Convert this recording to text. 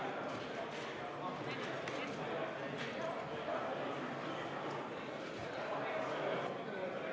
V a h e a e g